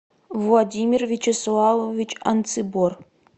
владимир вячеславович анцибор